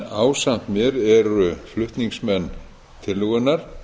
ásamt mér eru flutningsmenn tillögunnar